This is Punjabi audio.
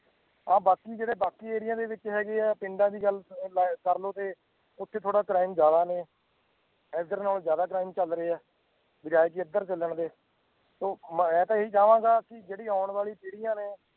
ਆਹ ਬਾਕੀ ਜਿਹੜੇ ਬਾਕੀ area ਦੇ ਵਿੱਚ ਹੈਗੇ ਆ ਪਿੰਡਾਂ ਦੀ ਗੱਲ ਲਾ~ ਕਰ ਲਓ ਤੇ ਉੱਥੇ ਥੋੜ੍ਹਾ crime ਜ਼ਿਆਦਾ ਨੇ, ਇੱਧਰ ਨਾਲੋਂ ਜ਼ਿਆਦਾ crime ਚੱਲ ਰਹੇ ਆ, ਬਜਾਏ ਕਿ ਇੱਧਰ ਚੱਲਣ ਦੇ ਤੇ ਮੈਂ ਤਾਂ ਇਹੀ ਚਾਹਾਂਗਾ ਕਿ ਜਿਹੜੀ ਆਉਣ ਵਾਲੀ ਪੀੜ੍ਹੀਆਂ ਨੇ